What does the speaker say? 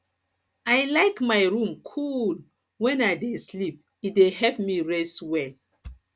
i like my room cool when i dey sleep e dey help me rest well